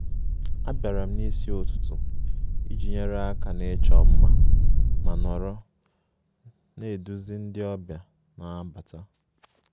Abịara m n'isi ụtụtụ iji nyere aka n'ịchọ mma ma nọrọ na-eduzi ndị ọbịa na-abata